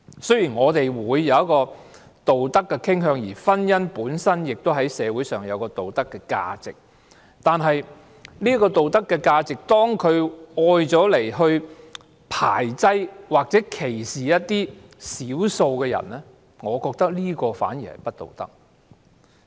雖然我們會有一個道德的傾向，而婚姻本身亦在社會上有道德價值，但當這道德價值被用來排擠或歧視少數人，我覺得這反而是不道德的。